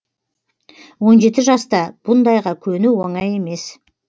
он жеті жаста бұндайға көну оңай емес